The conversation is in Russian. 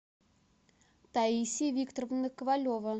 таисия викторовна ковалева